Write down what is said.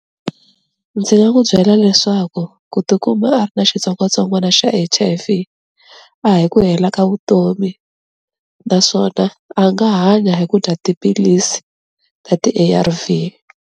Ndzi nga n'wu byela leswaku ku tikuma a ri na xitsongwatsongwana xa H_I_V a hi ku hela ka vutomi naswona a nga hanya hi ku dya tiphilisi ta ti-A_R_V.